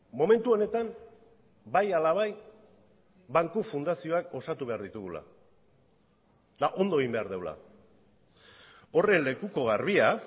momentu honetan bai ala bai banku fundazioak osatu behar ditugula eta ondo egin behar dugula horren lekuko garbia